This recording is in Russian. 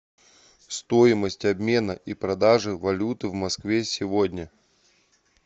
стоимость обмена и продажи валюты в москве сегодня